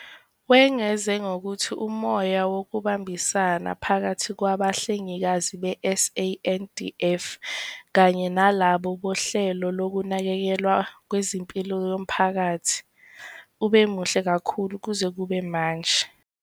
Wengeza ngokuthi umoya wokubambisana phakathi kwabahlengikazi be-SANDF kanye nalabo bohlelo lokunakekelwa kwezempilo yomphakathi ube muhle kakhulu kuze kube manje.